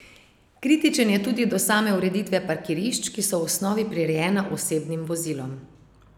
Kritičen je tudi do same ureditve parkirišč, ki so v osnovi prirejena osebnim vozilom.